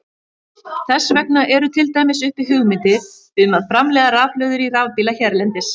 Þess vegna eru til dæmis uppi hugmyndir um að framleiða rafhlöður í rafbíla hérlendis.